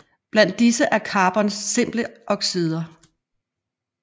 Blandt disse er carbons simple oxider